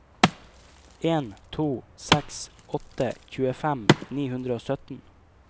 en to seks åtte tjuefem ni hundre og sytten